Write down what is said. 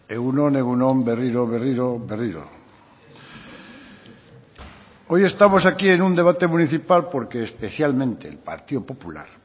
egun on egun on berriro berriro berriro hoy estamos aquí en un debate municipal porque especialmente el partido popular